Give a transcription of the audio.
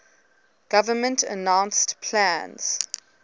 government announced plans